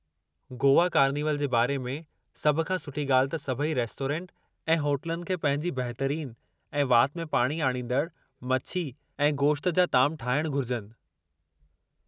Goa carnival जे बारे में सभु खां सुठी ॻाल्हि त सभई रेस्टोरेंट ऐं होटलनि खे पंहिंजी बहितरीनु ऐं वाति में पाणी आणींदड़ु मछी ऐं गोश्त जा ताम ठाहिणु घुरिजनि।